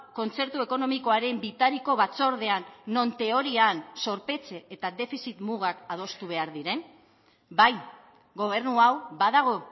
kontzertu ekonomikoaren bitariko batzordean non teorian zorpetze eta defizit mugak adostu behar diren bai gobernu hau badago